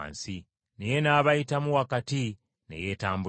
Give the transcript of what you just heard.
Naye n’abayitamu wakati ne yeetambulira.